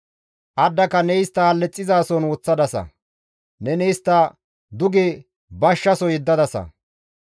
Addaka ne istta hallixizaason woththadasa; neni istta duge bashshaso yeddadasa.